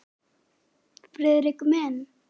Friðrik minn!